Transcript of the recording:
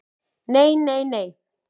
"""Nei, nei, nei!"""